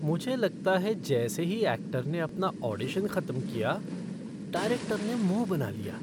मुझे लगता है जैसे ही ऐक्टर ने अपना ऑडिशन खत्म किया, डायरेक्टर ने मुँह बना लिया।